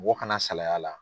Mɔgɔ kana salay'a la.